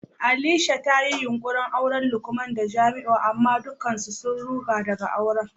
Alisha ta yi yunkurin auran Lukman da Jamiu amma dukkan su sun ruga daga auren.